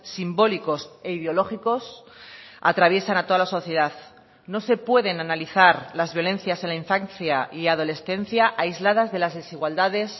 simbólicos e ideológicos atraviesan a toda la sociedad no se pueden analizar las violencias en la infancia y adolescencia aisladas de las desigualdades